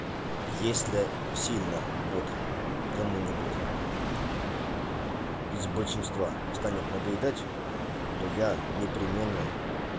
если сильно бот кому-нибудь из большинства станет надоедать то я непременно